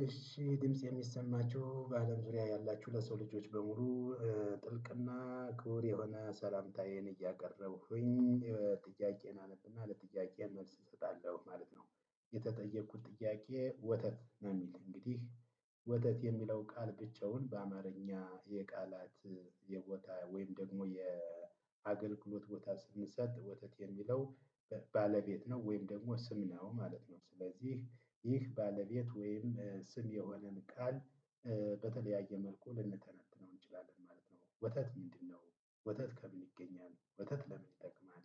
እሺ ይህ ድምጽ የሚሰማቹ በአለም ዙሪያ ያላችሁ ለሰው ልጆች በሙሉ ጥልቅና ክቡር የሆነ ሰላምታዬን እያቀረብኹኝ ጥያቄዬን አነብና ለጥያቄዬ መልስ እሰጣለሁ ማለት ነው። የተጠየኩት ጥያቄ ወተት ነው የሚል እንግዲህ ወተት የሚለው ቃል ብቻውን በአማርኛ የቃላት የቦታ ወይም ደግሞ የአገልግሎት ቦታ ስንሰጥ ወተት የሚለው ባለቤት ነው ወይም ደሞ ስም ነው ማለት ነው ስለዚህ ይህ ባለቤት ወይም ስም የሆነን ቃል በተለያየ መልኩ ልንተነትነው እንችላለን ማለት ነው ወተት ምንድነው? ወተት ከምን ይገኛል? ወተት ለምን ይጠቅማል?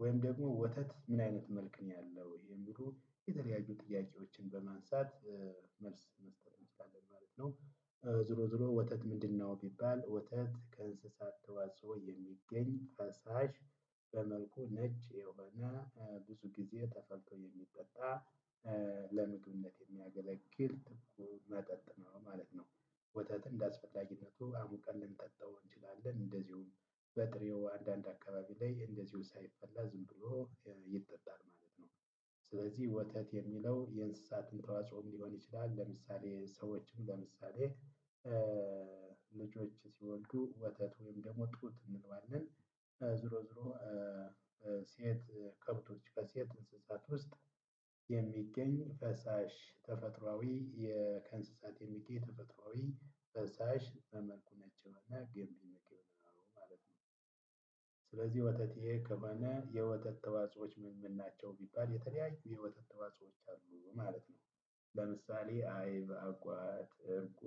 ወይም ደግሞ ወተት ምን አይነት መልክ ነው ያለው? የሚሉ የተለያዩ ጥያቄዎችን በማንሳት መልስ መስጠት እንችላለን ማለት ነው። ዞሮ ዞሮ ወተት ምንድነው ቢባል ወተት ከእንስሳት ተዋጽኦ የሚገኝ ፈሳሽ በመልኩ ነጭ የሆነ ብዙ ጊዜ ተፈልቶ የሚጠጣ ለምግብነት የሚያገለግል ትኩ መጠጥ ነው ማለት ነው። ወተትን እንደ አስፈላጊነቱ አሙቀን ልንጠጣው እንችላለን እንደዚሁም በጥሬው አንዳንድ አካባቢ ላይ እንደዚሁ ሳይፈላ ዝም ብሎ ይጠጣል ማለት ነው። ስለዚህ ወተት የሚለው የእንስሳትም ተዋጽኦም ሊሆን ይችላል ለምሳሌ ሰዎችም ለምሳሌ ልጆች ሲወልዱ ወተት ወይም ደግሞ ጡት እንለዋለን። ዝሮ ዝሮ ሴት ከብቶች በሴት እንስሳት ውስጥ የሚገኝ ፈሳሽ ተፈጥሮአዊ ከእንስሳት የሚገኝ ተፈጥሮአዊ ፈሳሽ መልኩ ነጭ የሆነ ገንቢ ምግብ ነው ማለት ነው። ስለዚህ ወተት ይሄ ከሆነ የወተት ተዋጽኦዎች ምን ምን ናቸው ቢባል የተለያዩ የወተት ተዋጽኦዎች አሉ ማለት ነው። ለምሳሌ አይብ አጓት እርጎ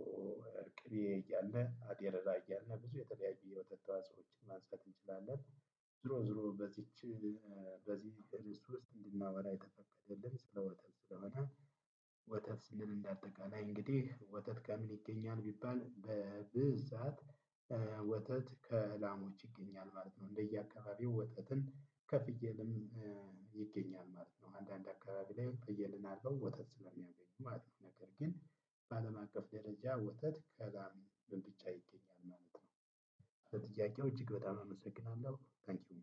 ቅቤ እያልነ አሬራ እያልነ ብዙ የወተት ተዋጽኦዎችን ማንሳት እንችላለን። ዝሮ ዝሮ በዚች በዚህ ርዕስ ውስጥ እንድናወራ የተፈቀደልን ስለ ወተት ስለሆነ። ወተት ስንል እንዳጠቃላይ እንግዲህ ወተት ከምን ይገኛል ቢባል በብዛት ወተት ከላሞች ይገኛል ማለት ነው። እንደየአካባቢው ወተትን ከፍየልም ይገኛል ማለት ነው። አንዳንድ አካባቢ ላይ ፍየልን አልበው ወተት ስለሚያገኙ ማለት ነው ነገር ግን በአለም አቀፍ ደረጃ ወተት ከላም ብቻ ይገኛል ማለት ነው። ለጥያቄው እጅግ በጣም አመሰግናለሁ ታንኪው